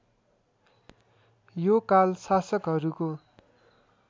यो काल शासकहरूको